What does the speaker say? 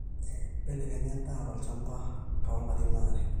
mbelekenya endaa tolchamba toolarin aare